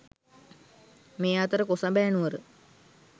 මේ අතර කොසඹෑ නුවර